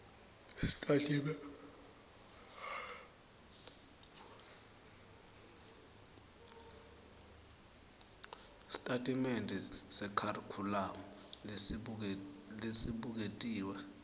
sitatimende sekharikhulamu lesibuketiwe